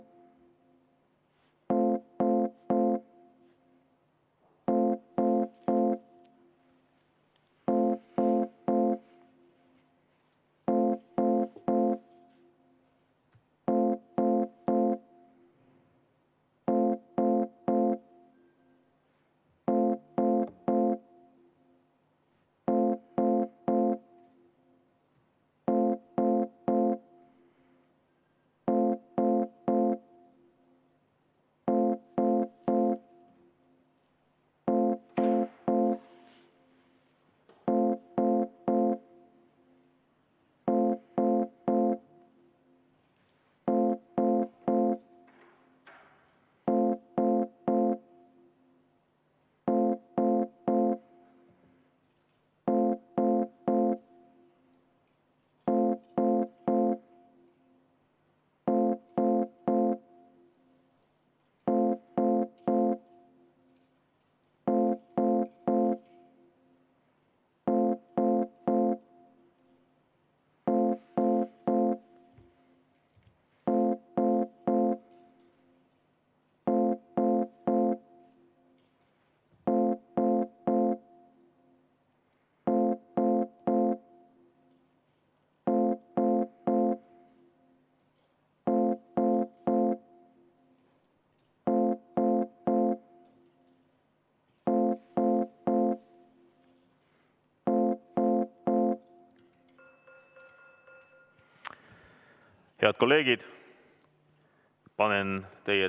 Head kolleegid!